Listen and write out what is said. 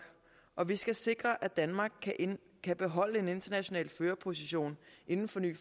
og vi skal sikre at danmark kan kan beholde en international førerposition inden for ny